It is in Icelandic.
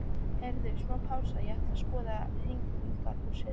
Heyrðu, smá pása, ég ætla út að skoða Hegningarhúsið.